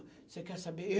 Você quer saber?